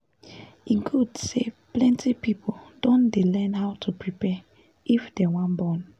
e good say plenty people don dey learn how to prepare if dem wan born